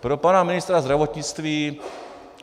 Pro pana ministra zdravotnictví.